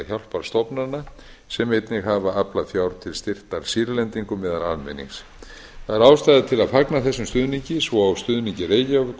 hjálparstofnana sem einnig hafa aflað fjár til styrktar sýrlendingum meðal almennings það er ástæða til að fagna þessum stuðningi svo